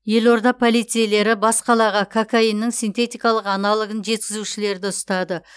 елорда полицейлері бас қалаға кокаиннің синтетикалық аналогын жеткізушілерді ұстады